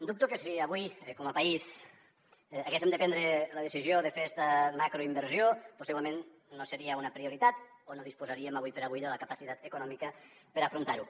dubto que si avui com a país haguéssem de prendre la decisió de fer esta macroinversió possiblement no seria una prioritat o no disposaríem ara per ara de la capacitat econòmica per afrontar ho